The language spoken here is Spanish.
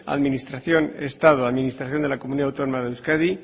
administración estado administración de la comunidad autónoma de euskadi